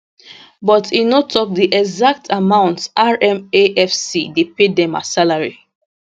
but e no tok di exact amount rmafc dey pay dem as salary